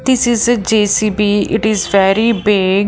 this is a J_C_B it is very big .